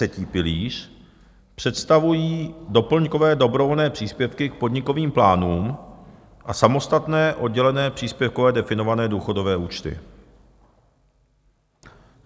Třetí pilíř představují doplňkové dobrovolné příspěvky k podnikovým plánům a samostatné oddělené, příspěvkově definované důchodové účty.